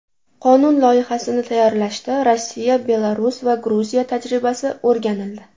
Qonun loyihasini tayyorlashda Rossiya, Belarus va Gruziya tajribasi o‘rganildi.